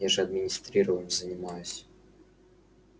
я же администрированием занимаюсь